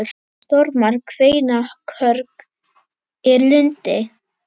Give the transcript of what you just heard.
Stormar kveina, körg er lund.